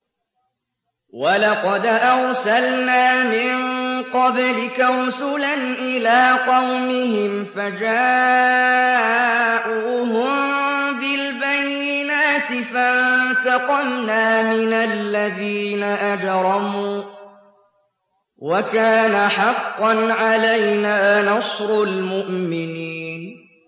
وَلَقَدْ أَرْسَلْنَا مِن قَبْلِكَ رُسُلًا إِلَىٰ قَوْمِهِمْ فَجَاءُوهُم بِالْبَيِّنَاتِ فَانتَقَمْنَا مِنَ الَّذِينَ أَجْرَمُوا ۖ وَكَانَ حَقًّا عَلَيْنَا نَصْرُ الْمُؤْمِنِينَ